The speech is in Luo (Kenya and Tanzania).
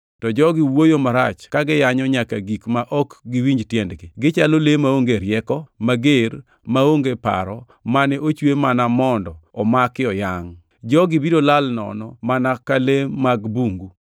To jogi wuoyo marach ka giyanyo nyaka gik ma ok giwinj tiendgi. Gichalo le maonge rieko, mager, maonge paro, mane ochwe mana mondo omaki oyangʼ. Jogi biro lal nono mana ka le mag bungu.